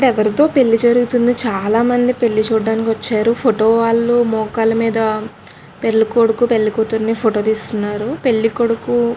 ఇక్కడ ఎవరిదో పెళ్లి జరుగుతుంది చాలా మంది పెళ్లి చూడడానికి వచ్చారు ఫోటో వాలు మోకాలుమీద పెళ్లి కొడుకు పెళ్లి కూతురిని ఫోటో తీస్తున్నారు పెళ్లి కొడుకు --